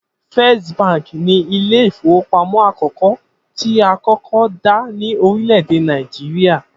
First Bank ni ilé ìfowópamó̩ àkó̩kó̩ tí a kọ́kọ́ dá ní orílè̩-èdè Nàìjíríà